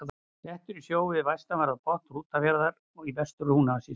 Klettur í sjó við vestanverðan botn Húnafjarðar í Vestur-Húnavatnssýslu.